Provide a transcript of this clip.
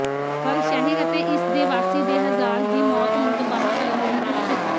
ਪਰ ਸ਼ਹਿਰ ਅਤੇ ਇਸ ਦੇ ਵਾਸੀ ਦੇ ਹਜ਼ਾਰ ਦੀ ਮੌਤ ਨੂੰ ਤਬਾਹ ਕਰਨ ਲਈ ਉਤਸੁਕ